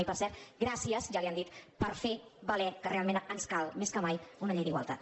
i per cert gràcies ja li ho han dit per fer valer que realment ens cal més que mai una llei d’igualtat